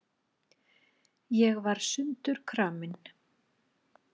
Ég var sundurkramin.